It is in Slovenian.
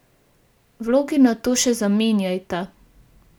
Vlogi nato še zamenjajta.